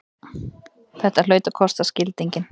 Þetta hlaut að kosta skildinginn!